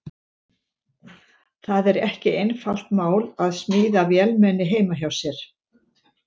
Það er ekki einfalt mál að smíða vélmenni heima hjá sér.